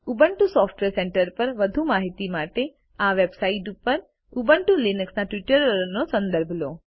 Ubuntu software centre પર વધુ માહિતી માટે આ વેબસાઈટ પર ઉબુન્ટુ લીનક્સના ટ્યુટોરીયલનો સંદર્ભ લો